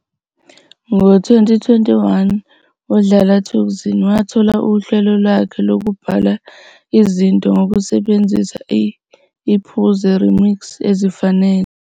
Ngo-2021, uDlala Thukzin wathola uhlelo lwakhe lwokubhala izinto ngokusebenzisa i-"Phuze", remix, ezifanele